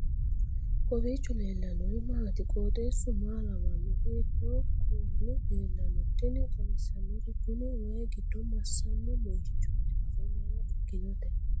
kowiicho leellannori maati ? qooxeessu maa lawaanno ? hiitoo kuuli leellanno ? tini xawissannori kuni wayi gidd massanno moychooti afoo mayra ikkinote